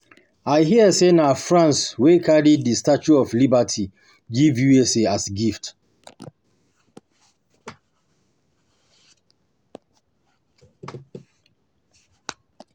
I hear say na France wey carry the Statue of Liberty give U.S.A as gift